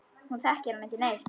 Hún þekkir hann ekki neitt.